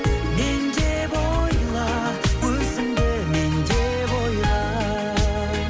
мен деп ойла өзіңді мен деп ойла